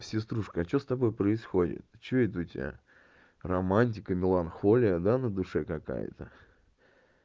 сеструшка а что с тобой происходит что это у тебя романтика меланхолия да на душе какая-то